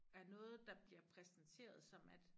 Er noget der bliver præsenteret som at